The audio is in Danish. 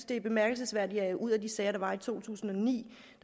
det er bemærkelsesværdigt at ud af de sager der var i to tusind og ni